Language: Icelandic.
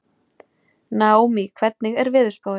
Naómí, hvernig er veðurspáin?